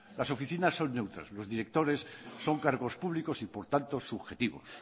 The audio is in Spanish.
las oficinas son neutras los directores son cargos públicos y por tanto subjetivos